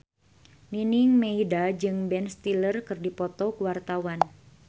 Nining Meida jeung Ben Stiller keur dipoto ku wartawan